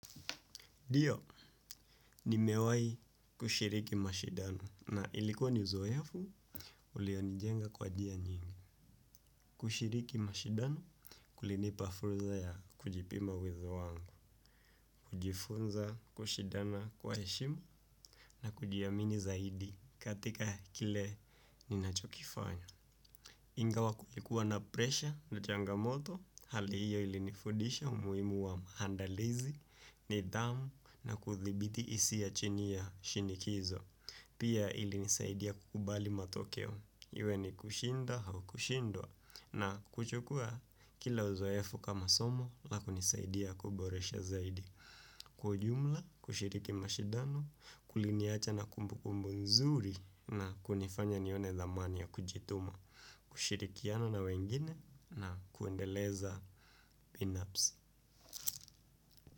Dio, nimewai kushiriki mashidano na ilikuwa ni zoefu, ulionijenga kwa jia nyingi. Kushiriki mashidano kulinipa furza ya kujipima uwezo wangu, kujifunza, kushidana kwa heshima na kujiamini zaidi katika kile ninachokifanya. Ingawa kulikuwa na presha na changamoto hali hiyo ilinifudisha umuimu wa mahandalizi nidhamu na kuthibiti isia chini ya shinikizo. Pia ilinisaidia kukubali matokeo. Iwe ni kushinda hau kushindwa na kuchukuwa kila uzoefu kama somo la kunisaidia kuboresha zaidi. Kwa ujumla, kushiriki mashidano, kuliniacha na kumbukumbu nzuri na kunifanya nione dhamani ya kujituma. Kushirikiana na wengine na kuendeleza pinups.